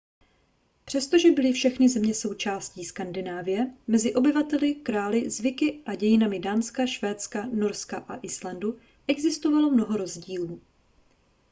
přestože byly všechny země součástí skandinávie mezi obyvateli králi zvyky a dějinami dánska švédska norska a islandu existovalo mnoho rozdílů